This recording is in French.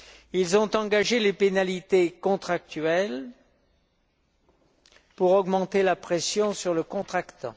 Ils ont engagé les pénalités contractuelles pour augmenter la pression sur le contractant.